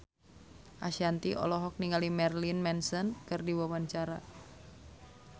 Ashanti olohok ningali Marilyn Manson keur diwawancara